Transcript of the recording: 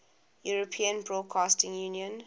european broadcasting union